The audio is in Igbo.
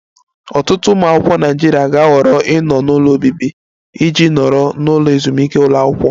Ọtụtụ ụmụ akwụkwọ Naịjirịa ga-ahọrọ ịnọ n'ụlọ obibi iji nọrọ n'ụlọ ezumike ụlọ akwụkwọ